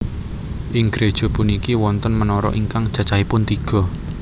Ing gréja puniki wonten menara ingkang cacahipun tiga